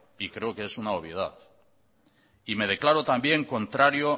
y creo que es una obviedad y me declaro también contrario